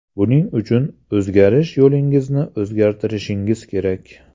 Buning uchun, o‘rganish yo‘lingizni o‘zgartirishingiz kerak.